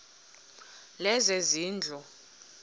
lezezindlu